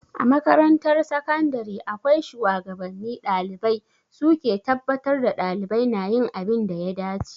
A makarantar sakandare akwai shuwagabanni ɗalibai, su ke tabbatar da ɗalibai na yin abin da ya dace.